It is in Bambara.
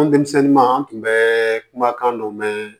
An denmisɛnnin ma an tun bɛ kuma kan dɔ mɛn